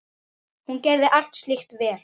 Hún gerði allt slíkt vel.